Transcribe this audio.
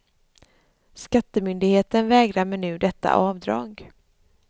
Skattemyndigheten vägrar mig nu detta avdrag.